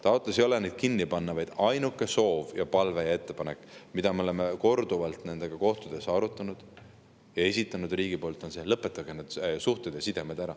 Taotlus ei ole neid kinni panna, vaid ainuke soov ja palve ja ettepanek, mida me oleme korduvalt nendega kohtudes arutanud ja esitanud riigi poolt, on see, et nad lõpetaksid need suhted ja sidemed ära.